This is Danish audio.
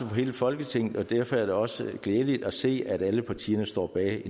i hele folketingets interesse og derfor er det også glædeligt at se at alle partierne står bag